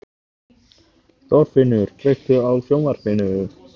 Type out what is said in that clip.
Þorfinnur, kveiktu á sjónvarpinu.